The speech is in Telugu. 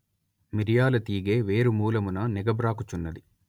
మిరియాల తీగె వేరుమూలమున నెగబ్రాకుచున్నది